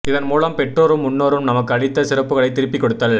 இதன் மூலம் பெற்றோரும் முன்னோரும் நமக்கு அளித்த சிறப்புகளைத் திருப்பிக் கொடுத்தல்